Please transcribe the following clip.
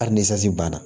Hali ni sasi banna